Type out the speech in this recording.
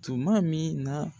Tuma min na.